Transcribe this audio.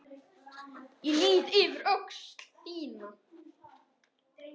Ég lýt yfir öxl þína.